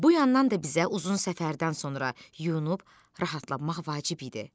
Bu yandan da bizə uzun səfərdən sonra yunub rahatlanmaq vacib idi.